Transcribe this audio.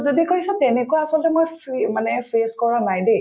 যদি কৈছা তেনেকুৱা আচলতে মই fee মানে face কৰা নাই দেই